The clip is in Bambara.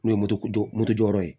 N'o ye moto moto jɔyɔrɔ ye